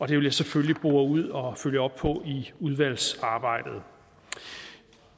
vil jeg selvfølgelig bore ud og følge op på i udvalgsarbejdet